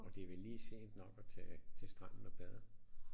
Og det er vel lige sent nok at tage til stranden og bade